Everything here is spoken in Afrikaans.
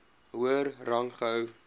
hoër rang gehou